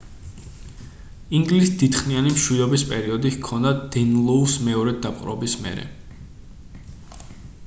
ინგლისს დიდხნიანი მშვიდობის პერიოდი ჰქონდა დენლოუს მეორედ დაპყრობის მერე